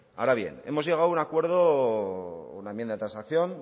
ahora bien hemos llegado a un acuerdo a una enmienda de transacción